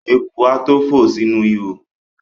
Eku a tó fò sínú ihò.